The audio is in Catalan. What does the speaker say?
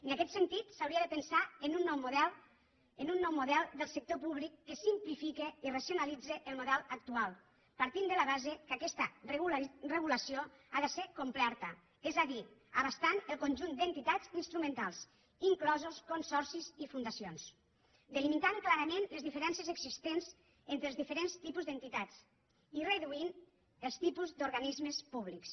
en aquest sentit s’hauria de pensar en un nou model del sector públic que simplifiqui i racionalitzi el model actual partint de la base que aquesta regulació ha de ser completa és a dir abastant el conjunt d’entitats instrumentals inclosos consorcis i fundacions delimitant clarament les diferències existents entre els diferents tipus d’entitats i reduint els tipus d’organismes públics